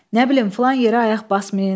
Nə bilim filan yerə ayaq basmayın.